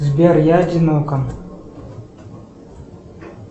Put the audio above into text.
сбер я одинока